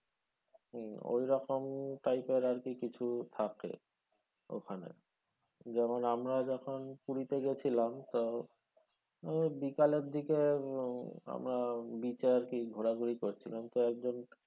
হুম ওইরকম type এর কিছু আরকি থাকে ওখানে যেমন আমরা যেমন পুরি তে গেছিলাম তো বিকালের দিকে উম আমরা beach এ আরকি ঘোরা ঘুরি করছিলাম তো একজন